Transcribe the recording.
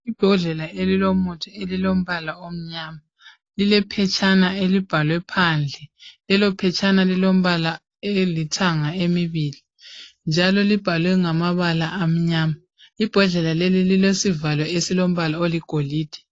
Ibhodlela elilomuthi elilombala omnyama lilephetshana elibhalwe phandle. Lelo phetshana lilombala elithanga emibili njalo libhaliwe ngamabala amnyama. Ibhodlela leli lilesivalo esilombala oligolide.